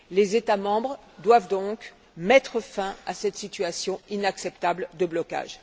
Les États membres doivent donc mettre fin à cette situation inacceptable de blocage.